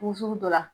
Wusuli dɔ la